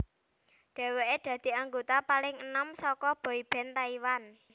Dhèwèké dadi anggota paling enom saka boyband Taiwan